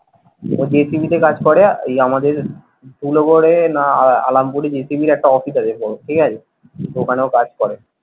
একটা জি টিভি তে কাজ করে ওই আমাদের ধুলাগরে না আলমপুর এ জি টিভির একটা অফিস আছে বড় ঠিক আছে ওখানে ও কাজ করে।